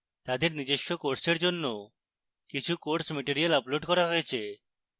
তাদের নিজস্ব কোর্সের জন্য কিছু course material আপলোড করা হয়েছে